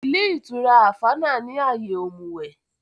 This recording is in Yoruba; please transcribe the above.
Ilé ìtura Àfánà ni àyè òmùwẹ̀